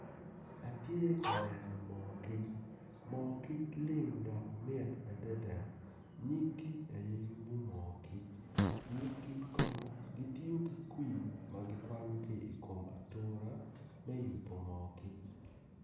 Atye ka neno moo kic moo kic lim dok mit adada nyig kic aya yubu moo kic nyig kic kono gityo ki kwi ma giwanyo ki i kom atura me yubu moo kic